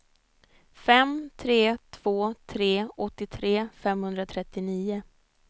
fem tre två tre åttiotre femhundratrettionio